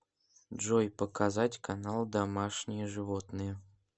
джой показать канал домашние животные